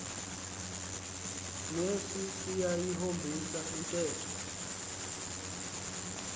nesi siyayihombisa intetho